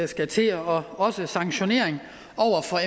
skal til og også sanktionere